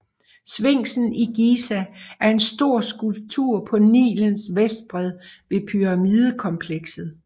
Sfinksen i Giza er en stor skulptur på Nilens vestbred ved pyramidekomplekset